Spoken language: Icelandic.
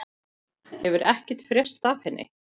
Hefur ekkert frést af henni?